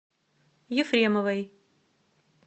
ефремовой